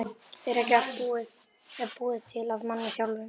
Er ekki allt búið til af manni sjálfum?